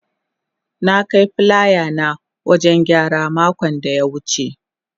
na Kai filaya na wajen gyara makon da ya wuce.